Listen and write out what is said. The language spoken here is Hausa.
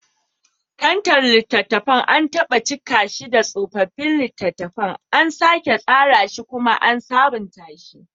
Kantar littattafan, an taɓa cika shi da tsofaffin littattafan, an sake tsara shi kuma an sabunta shi